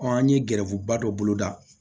an ye gɛrɛfuba dɔ boloda